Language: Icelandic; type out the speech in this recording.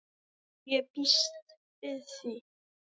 Jú, ég býst við því